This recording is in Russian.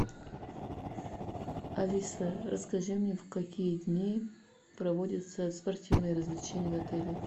алиса расскажи мне в какие дни проводятся спортивные развлечения в отеле